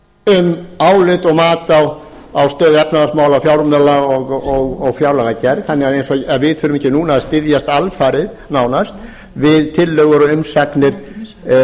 um álit og mat á stöðu efnahagsmála fjármála og fjárlagagerð þannig að eins og við þurfum ekki núna að styðjast alfarið nánast við tillögur og umsagnir